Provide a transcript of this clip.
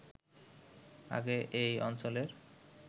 আগে এ অঞ্চলের